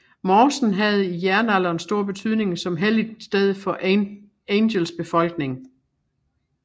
Mosen havde i jernalderen stor betydning som helligt sted for Angels befolkning